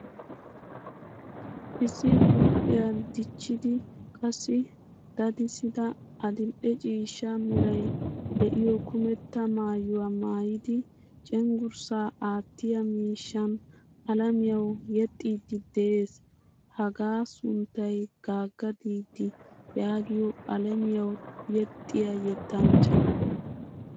Issi huuphphiyaa dichchidi qassi daddisida adil'ee ciishshaa meray de'iyo kumetta maayuwaa maayidi cenggurssa aattiya miishshan alamiyawu yexxidi de'ees. Hagaa sunttay gaga didi yaagiyo alamiyawu yexiya yettanchcha.